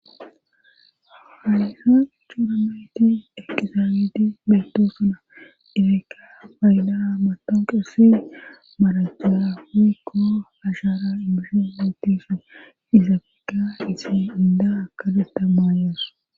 haliha cuurameyti ekizaabeeti bayto suna ereka payda matoon qesi marachea hukko hashaara ibishi hootisu izafeka isi inda akadetta maayoos